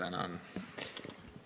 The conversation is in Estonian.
Tänan!